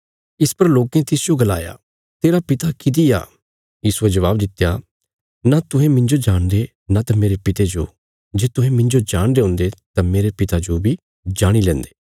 इस पर लोकें तिसजो गलाया तेरा पिता किति आ यीशुये जबाब दित्या न तुहें मिन्जो जाणदे न त मेरे पिता जो जे तुहें मिन्जो जाणदे हुन्दे तां मेरे पिता जो बी जाणी लेन्दे